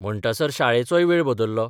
म्हणटासर शाळेचोय वेळ बदल्लो.